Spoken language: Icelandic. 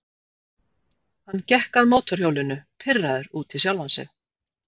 Hann gekk að mótorhjólinu, pirraður út í sjálfan sig.